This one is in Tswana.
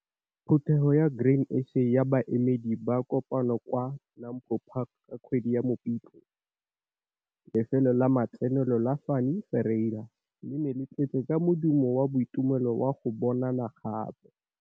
Phuthego ya Grain SA ya baemedi ba kopane kwa NAMPO Park ka kgwedi ya Mopitlwe. Lefelo la matsenelo la Fanie Ferreira le ne le tletse ka modumo wa boitumelo wa go bonana gape.